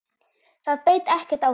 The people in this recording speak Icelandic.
Það beit ekkert á þig.